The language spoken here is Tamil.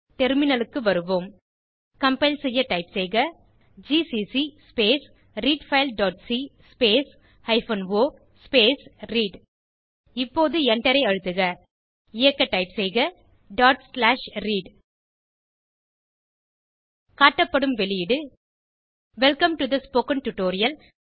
டெர்மினலுக்கு வருவோம் கம்பைல் செய்ய டைப் செய்க GCC space read file dot C space hyphen O space read இப்போது எண்டரை அழுத்துக இயக்க டைப் செய்க read காட்டப்படும் வெளியீடு welcome to the spoken tutorial